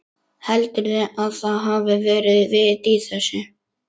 Heldurðu að það hafi verið vit í þessu?